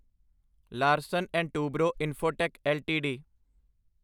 Larsen and Toubro Infotech LTD